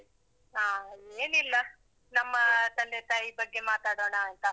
ಹಾ. ಏನಿಲ್ಲ. ನಮ್ಮ ತಂದೆ ತಾಯಿ ಬಗ್ಗೆ ಮಾತಾಡೋಣಾಂತಾ.